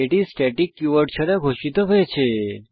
এটি static keyword ছাড়া ঘোষিত হয়েছে